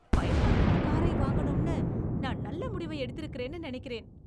பயன்படுத்தின காரை வாங்கனும்னு நான் நல்ல முடிவை எடுத்திருக்கிறேன்னு நினைக்கிறேன்.